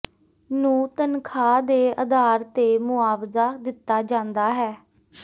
ਨੂੰ ਤਨਖਾਹ ਦੇ ਆਧਾਰ ਤੇ ਮੁਆਵਜ਼ਾ ਦਿੱਤਾ ਜਾਂਦਾ ਹੈ